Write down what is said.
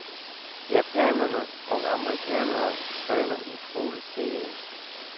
Japanerne og amerikanere træner utroligt seriøst.